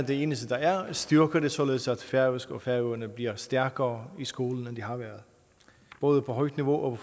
det eneste der er styrker det således at færøsk og færøerne bliver stærkere i skolen end det har været både på højt niveau og